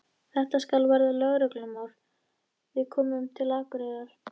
Þetta skal verða lögreglumál, þegar við komum til Akureyrar.